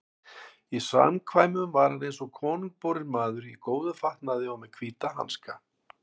Í samkvæmum var hann eins og konungborinn maður, í góðum fatnaði og með hvíta hanska.